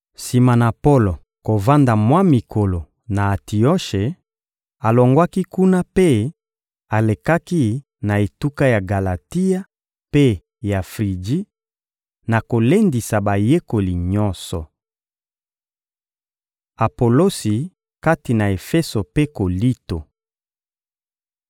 Sima na Polo kovanda mwa mikolo na Antioshe, alongwaki kuna mpe alekaki na etuka ya Galatia mpe ya Friji, na kolendisa bayekoli nyonso. Apolosi kati na Efeso mpe Kolinto